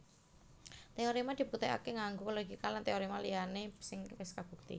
Téoréma dibuktèkaké nganggo logika lan téoréma liyané sing wis kabukti